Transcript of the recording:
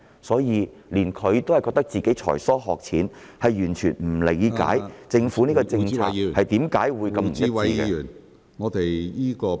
所以，他也自覺才疏學淺，完全不能理解政府的政策何以會如此的不一致。